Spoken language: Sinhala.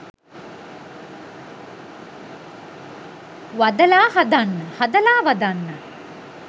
'වදලා හදන්න' 'හදලා වදන්න'.